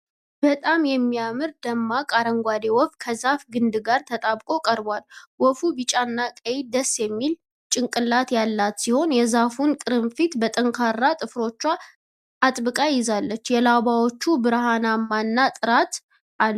በጣም የሚያምር ደማቅ አረንጓዴ ወፍ ከዛፍ ግንድ ጋር ተጣብቆ ቀርቧል። ወፏ ቢጫ እና ቀይ ደስ የሚል ጭንቅላት ያላት ሲሆን፣ የዛፉን ቅርፊት በጠንካራ ጥፍሮቿ አጥብቃ ይዛለች። የላባዎቹ ብርሃንና ጥራት አለው።